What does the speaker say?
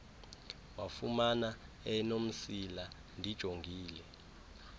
wafumana enomsila ndijongile